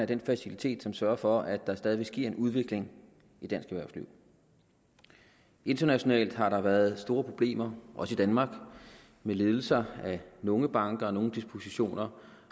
den facilitet som sørger for at der stadigvæk sker en udvikling af dansk erhvervsliv internationalt har der været store problemer også i danmark med ledelser af nogle banker og nogle dispositioner